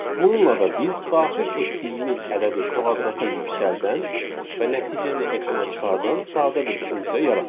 Bununla da biz daxil etdiyimiz ədədi kvadrata yüksəldən və nəticəni ekrana çıxardan sadə bir funksiya yaratdıq.